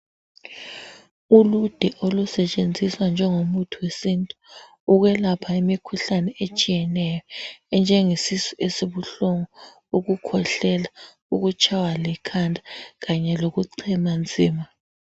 Uluze olusetsenziswa njengomuthi wesintu ukwelapha imikhuhlane etshiyeneyo enjengesisu esibuhlungu ukukhwehlela, ukutshaywa likhanda kanye lokuchema nzima